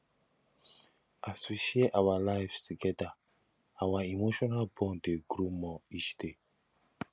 as we share our lives together our emotional bond dey grow more each day